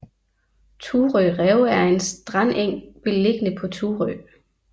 Thurø Rev er en strandeng beliggende på Thurø